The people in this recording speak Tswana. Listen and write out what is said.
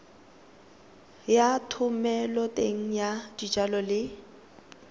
ya thomeloteng ya dijalo le